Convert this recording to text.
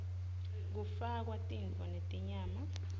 kufakwa titfo netinyama